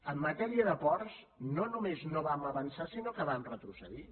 en matèria de ports no només no vam avançar sinó que vam retrocedir